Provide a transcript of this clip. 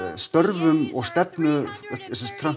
störfum Trumps